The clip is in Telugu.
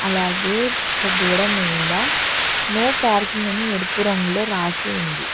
అలాగే అక్కడ గోడ మీద నో పార్కింగ్ అని ఎరుపు రంగులో రాసి ఉంది.